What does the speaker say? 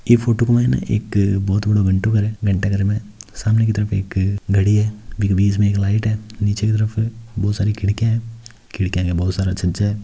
यह फोटो में एक बहुत बड़ा घंटा घर है सामने की तरफ एक घडी है बिच में एक लाइट है निचे की तरफ बहुत सारी खिड़कियां हैखिड़की में बहुत सारा छज्जा है।